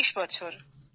৪০ বছর